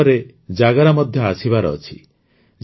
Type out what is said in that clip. ସେପ୍ଟେମ୍ବରରେ ଜାଗରା ମଧ୍ୟ ଆସିବାର ଅଛି